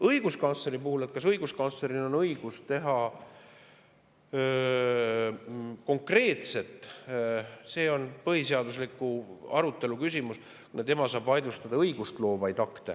Õiguskantsleri puhul, et kas õiguskantsleril on konkreetne õigus, siis see on põhiseaduslikkuse arutelu küsimus, kuna tema saab vaidlustada õigustloovaid akte.